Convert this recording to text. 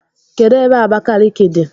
Kedụ ebe Abakiliki dị?